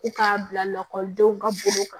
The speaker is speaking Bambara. Ko k'a bila lakɔlidenw ka bolo kan